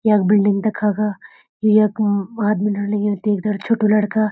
यख बिल्डिंग दिखा गा यु यखम आदमी लग्युं ते दगड छोटू लड़का।